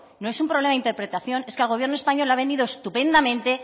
no es un problema de interpretación es que al gobierno español le ha venido estupendamente